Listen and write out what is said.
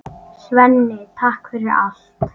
Svenni, takk fyrir allt.